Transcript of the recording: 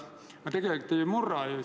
Me tegelikult ei murra ju.